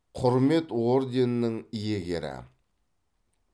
құрмет орденінің иегері